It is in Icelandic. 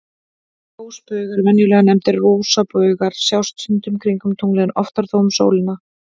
Ljósbaugar, venjulega nefndir rosabaugar, sjást stundum kringum tunglið, en oftar þó um sólina.